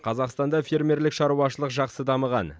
қазақстанда фермерлік шаруашылық жақсы дамыған